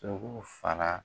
dɔ ko fana.